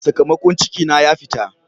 Sakamakon ciki na ya fita.